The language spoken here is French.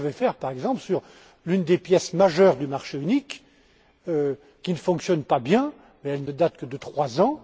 C'est ce que je vais faire, par exemple, sur l'une des pièces majeures du marché unique, qui ne fonctionne pas bien, et elle ne date que de trois ans.